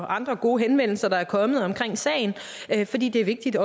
andre gode henvendelser der er kommet omkring sagen fordi det er vigtigt